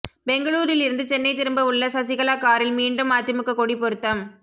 பெங்களூரில் இருந்து சென்னை திரும்ப உள்ள சசிகலா காரில் மீண்டும் அதிமுக கொடி பொருத்தம்